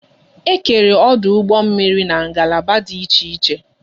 E kere ọdụ ụgbọ mmiri n'ngalaba dị iche iche